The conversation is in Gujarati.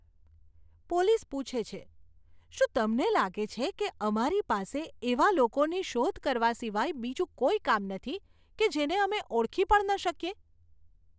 પોલીસ પૂછે છે, શું તમને લાગે છે કે અમારી પાસે એવા લોકોની શોધ કરવા સિવાય બીજું કોઈ કામ નથી કે જેને અમે ઓળખી પણ ન શકીએ?